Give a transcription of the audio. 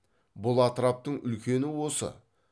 бұл атраптың үлкені осы